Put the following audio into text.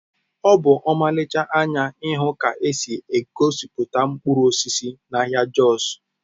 Ọ bụ ọmarịcha anya ịhụ ka esi egosipụta mkpụrụ osisi n'ahịa Jos